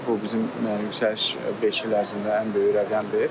Bu bizim yüksəliş beş il ərzində ən böyük rəqəmdir.